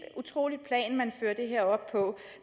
utroligt plan man fører det her op på